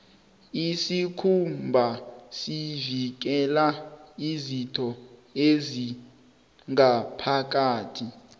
isikhumba sivikela izitho ezingaphakathi